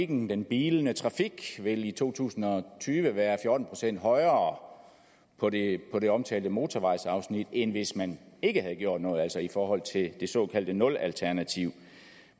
den bilende trafik i to tusind og tyve vil være fjorten procent højere på det på det omtalte motorvejsafsnit end hvis man ikke havde gjort noget altså i forhold til det såkaldte nulalternativ